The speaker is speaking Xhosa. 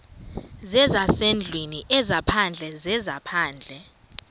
zezasendlwini ezaphandle zezaphandle